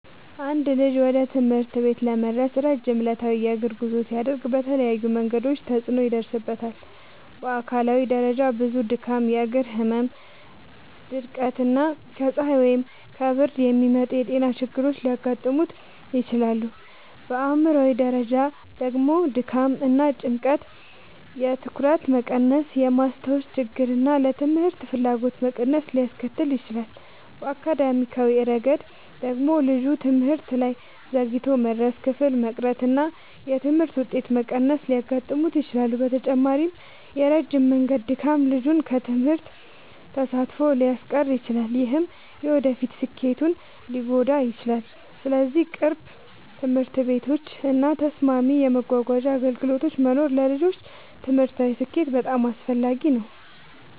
አንድ ልጅ ወደ ትምህርት ቤት ለመድረስ ረጅም ዕለታዊ የእግር ጉዞ ሲያደርግ በተለያዩ መንገዶች ተጽዕኖ ይደርስበታል። በአካላዊ ደረጃ ብዙ ድካም፣ የእግር ህመም፣ ድርቀት እና ከፀሐይ ወይም ከብርድ የሚመጡ ጤና ችግሮች ሊያጋጥሙት ይችላሉ። በአእምሯዊ ደረጃ ደግሞ ድካም እና ጭንቀት የትኩረት መቀነስን፣ የማስታወስ ችግርን እና ለትምህርት ፍላጎት መቀነስን ሊያስከትል ይችላል። በአካዳሚያዊ ረገድ ደግሞ ልጁ ትምህርት ላይ ዘግይቶ መድረስ፣ ክፍል መቅረት እና የትምህርት ውጤት መቀነስ ሊያጋጥሙት ይችላሉ። በተጨማሪም የረጅም መንገድ ድካም ልጁን ከትምህርት ተሳትፎ ሊያስቀር ይችላል፣ ይህም የወደፊት ስኬቱን ሊጎዳ ይችላል። ስለዚህ ቅርብ ትምህርት ቤቶች እና ተስማሚ የመጓጓዣ አገልግሎቶች መኖር ለልጆች ትምህርታዊ ስኬት በጣም አስፈላጊ ነው።